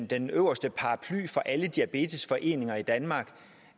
den øverste paraply for alle diabetesforeninger i danmark